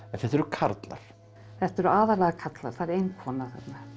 þetta eru karlar þetta eru aðallega karlar það er ein kona